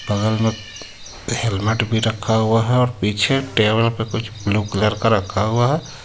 बगल में हेलमेट भी रखा हुआ हे और पीछे टेबल पे कुछ ब्लू कलर का रखा हुआ है.